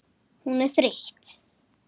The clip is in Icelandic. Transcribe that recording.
Hún er þreytt.